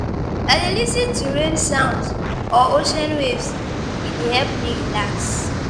I dey lis ten to rain sounds or ocean waves, e dey help me relax.